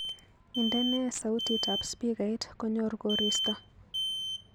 Indene sautitab spikait konyor koristo